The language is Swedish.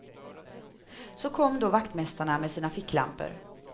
Så kom då vaktmästarna, med sina ficklampor.